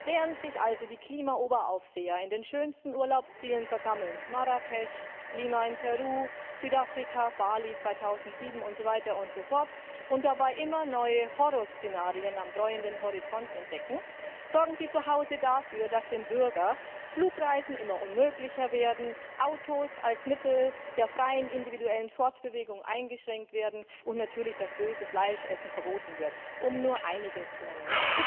Während sich also die Klimaoberaufseher in den schönsten Urlaubszielen versammeln Marrakesch, Lima in Peru, Südafrika, Bali 2007 und so weiter und so fort und dabei immer neue Horrorszenarien am dräuenden Horizont entdecken, sorgen sie zu Hause dafür, dass dem Bürger Flugreisen immer unmöglicher werden, Autos als Mittel der freien individuellen Fortbewegung eingeschränkt werden und natürlich das böse Fleischessen verboten wird um nur einiges zu nennen.